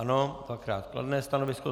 Ano, dvakrát kladné stanovisko.